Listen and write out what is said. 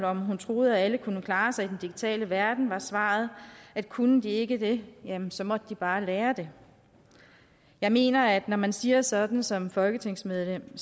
om hun troede at alle kunne klare sig i den digitale verden var svaret at kunne de ikke det jamen så måtte de bare lære det jeg mener at når man siger sådan som folketingsmedlem